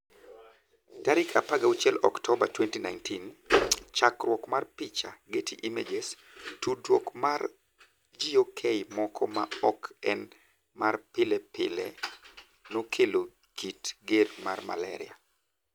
16 Oktoba 2019. Chakruok mar picha, Getty Images. tudruok mar gok moko maok en ma pile pile nokelo kit ger mar malaria